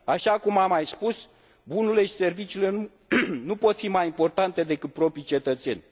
Așa cum am mai spus, bunurile și serviciile nu pot fi mai importante decât propriii cetățeni.